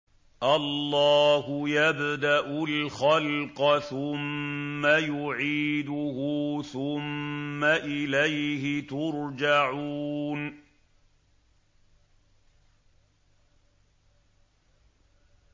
اللَّهُ يَبْدَأُ الْخَلْقَ ثُمَّ يُعِيدُهُ ثُمَّ إِلَيْهِ تُرْجَعُونَ